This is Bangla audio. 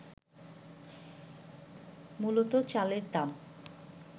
মূলত চালের দাম